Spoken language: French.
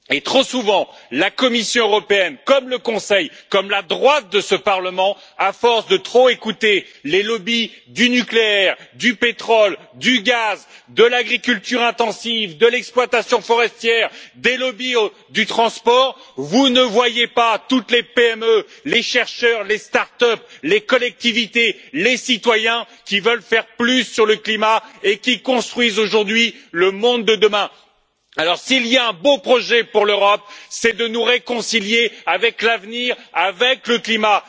Trop souvent, la Commission européenne comme le Conseil, comme la droite de ce Parlement, à force de trop écouter les lobbies du nucléaire, du pétrole, du gaz, de l'agriculture intensive, de l'exploitation forestière et du transport ne voient pas toutes les PME, les chercheurs, les start up, les collectivités et les citoyens qui veulent faire plus en faveur du climat et qui construisent aujourd'hui le monde de demain. S'il y a un beau projet pour l'Europe, c'est de nous réconcilier avec l'avenir, avec le climat.